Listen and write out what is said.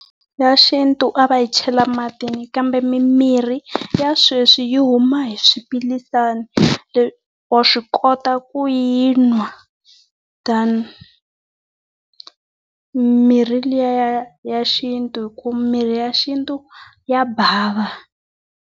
Ya xintu a va yi chela matini kambe mimirhi ya sweswi yi huma hi swiphilisana. wa swi kota ku yi nwa than mirhi liya ya xintu hi ku mirhi ya xintu ya bava.